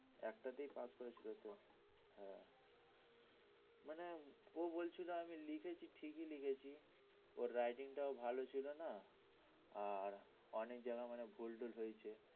একটা তেই pass করেছিল তো? হ্যাঁ মানে ও বলছিল আমি লিখেছি ঠিকই লিখেছি ও writing টাও ভালো ছিল না আর অনেক জায়গায় মানে ভুল টুল হয়েছে।